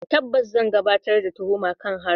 Tabbas, zan gabatar da tuhuma kan harin.